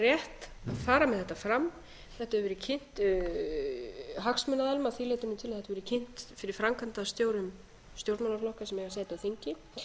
rétt að fara með þetta fram þetta hefur verið kynnt hagsmunaaðilum að því leytinu til að þetta yrði kynnt fyrir framkvæmdastjórum stjórnmálaflokka sem eiga sæti á þingi